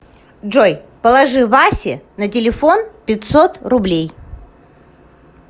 джой положи васе на телефон пятьсот рублей